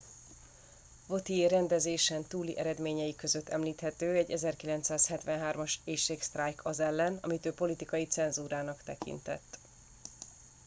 vautier rendezésen túli eredményei között említhető egy 1973 as éhségsztrájk az ellen amit ő politikai cenzúrának tekintett